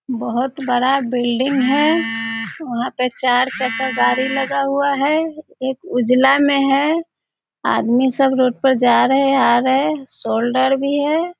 बहुत बड़ा बिल्डिंग है वहां पे चार चक्का गाड़ी लगा हुआ है एक उजला में है आदमी सब रोड पर जा रहे हैं आ रहे हैं सोल्डर भी है।